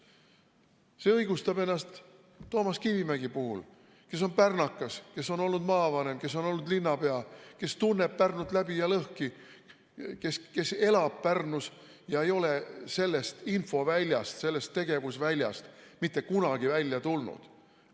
See õigustab ennast Toomas Kivimägi puhul, kes on pärnakas, kes on olnud maavanem, kes on olnud linnapea, kes tunneb Pärnut läbi ja lõhki, kes elab Pärnus ega ole sellest infoväljast, sellest tegevusväljast mitte kunagi välja tulnud.